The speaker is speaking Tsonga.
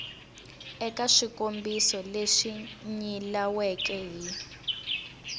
eka swikombiso leswi nyilaweke hi